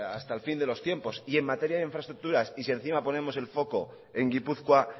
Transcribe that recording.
hasta el fin de los tiempos en materia e infraestructuras y si encima ponemos el foco en gipuzkoa